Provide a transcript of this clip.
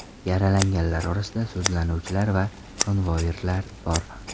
Yaralanganlar orasida sudlanuvchilar va konvoirlar bor.